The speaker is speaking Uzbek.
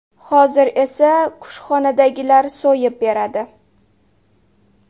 Hozir esa kushxonadagilar so‘yib beradi.